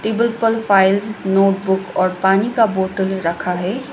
Table पर files notebook और पानी का बोटल रखा है।